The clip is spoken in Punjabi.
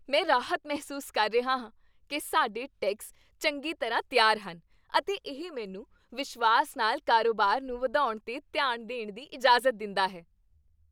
ਮੈਂ ਰਾਹਤ ਮਹਿਸੂਸ ਕਰ ਰਿਹਾ ਹਾਂ ਕਿ ਸਾਡੇ ਟੈਕਸ ਚੰਗੀ ਤਰ੍ਹਾਂ ਤਿਆਰ ਹਨ, ਅਤੇ ਇਹ ਮੈਨੂੰ ਵਿਸ਼ਵਾਸ ਨਾਲ ਕਾਰੋਬਾਰ ਨੂੰ ਵਧਾਉਣ 'ਤੇ ਧਿਆਨ ਦੇਣ ਦੀ ਇਜਾਜ਼ਤ ਦਿੰਦਾ ਹੈ।